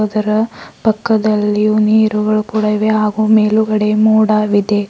ಇದರ ಪಕ್ಕದಲ್ಲಿಯು ನೀರುಗಳು ಕೂಡ ಇವೆ ಹಾಗೂ ಮೇಲುಗಡೆ ಮೋಡವಿದೆ.